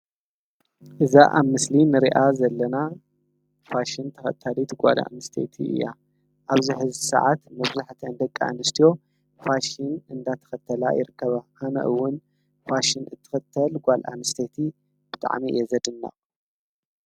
እዛ ኣብ ምስሊ ንርኣ ዘለና ፋሽን ተኸተሊት ጓል ኣምስተቲ እያ ኣብዚ ሕዚ ሰዓት መብዙሕተይንደቂ ኣንስትዮ ፋሽን እንዳተኸተላ ይርከበ ሃምእውን ፋሽን እትኽተል ጓል ኣምስተቲ ብጥዕሚ እየዘድና።